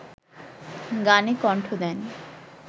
গানে কণ্ঠ দেন